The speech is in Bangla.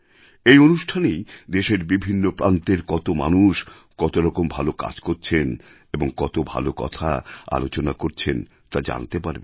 এই অনুষ্ঠানেই দেশের বিভিন্ন প্রান্তের কত মানুষ কতরকম ভালো কাজ করছেন এবং কত ভালো কথা আলোচনা করছেন তা জানতে পারবেন